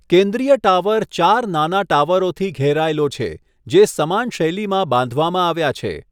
કેન્દ્રીય ટાવર ચાર નાના ટાવરોથી ઘેરાયેલો છે, જે સમાન શૈલીમાં બાંધવામાં આવ્યા છે.